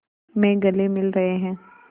में गले मिल रहे हैं